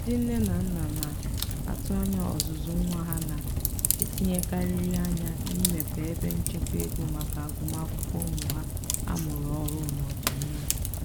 ndị nne na nna na-atụ anya ọzụzụ nwa ha na-etinyekarịrị anya n'imepe ebe nchekwa ego maka agụmakwụkwọ ụmụ ha amụrụ ọhụrụ n'ọdịnihu.